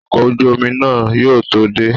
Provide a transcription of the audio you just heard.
Ọkọ̀ ojú omi náà yóò tó dé